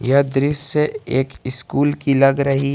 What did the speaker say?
यह दृश्य एक स्कूल की लग रही है।